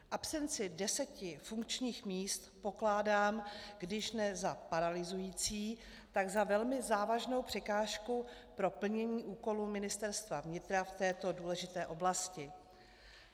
Absenci deseti funkčních míst pokládám když ne za paralyzující, tak za velmi závažnou překážku pro plnění úkolů Ministerstva vnitra v této důležité oblasti.